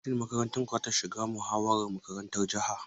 Shin makarantar ku za ta shiga muhawarar makarantar jiha?